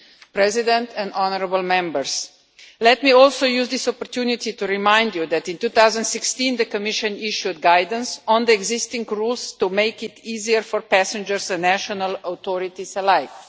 Mr President and honourable members let me also use this opportunity to remind you that in 2016, the Commission issued guidelines on the existing rules to make it easier for passengers and national authorities alike.